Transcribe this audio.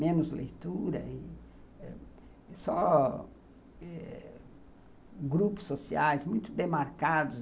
Menos leitura e só grupos sociais muito demarcados.